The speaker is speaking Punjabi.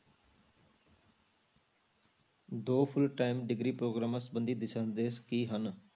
ਦੋ full time degree ਪ੍ਰੋਗਰਾਮਾਂ ਸੰਬੰਧੀ ਦਿਸ਼ਾ ਨਿਰਦੇਸ਼ ਕੀ ਹਨ?